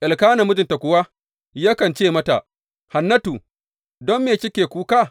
Elkana mijinta kuwa yakan ce mata, Hannatu don me kike kuka?